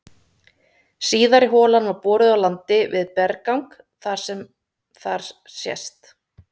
Síðari holan var boruð á landi við berggang sem þar sést.